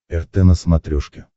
рт на смотрешке